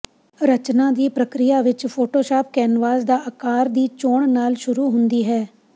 ਰਚਨਾ ਦੀ ਪ੍ਰਕਿਰਿਆ ਵਿਚ ਫੋਟੋਸ਼ਾਪ ਕੈਨਵਸ ਦਾ ਅਕਾਰ ਦੀ ਚੋਣ ਨਾਲ ਸ਼ੁਰੂ ਹੁੰਦੀ ਹੈ